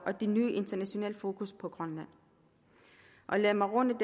og det nye internationale fokus på grønland lad mig runde